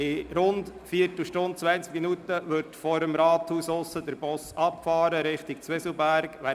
In rund einer Viertelstunde bis zwanzig Minuten fährt vor dem Rathaus der Bus in Richtung Zwieselberg ab.